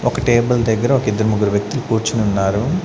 ఒక టేబుల్ దగ్గర ఒక ఇద్దరు ముగ్గురు వ్యక్తులు కూర్చుని ఉన్నారు.